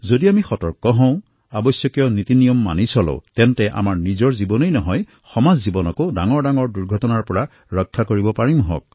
যদি আমি সতৰ্ক হওঁ আৱশ্যকীয় নিয়মসমূহ পালন কৰোঁ তেন্তে নিজৰ জীৱন ৰক্ষা কৰাৰ লগতে ডাঙৰ দুৰ্ঘটনাৰ পৰাও সমাজক ৰক্ষা কৰিব পাৰোঁ